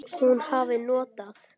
Hún hafi notað